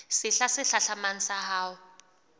sehla se hlahlamang sa ho